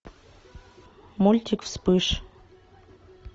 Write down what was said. мультик вспыш